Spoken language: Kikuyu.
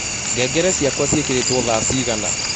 ngengere cĩakwa cĩĩkĩrĩtwo thaa cĩĩgana